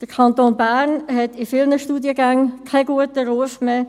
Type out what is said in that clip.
Der Kanton Bern hat in vielen Studiengängen keinen guten Ruf mehr.